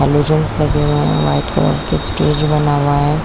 Halogens लगे हुए है व्हाइट कलर के स्टेज बना हुआ हैं।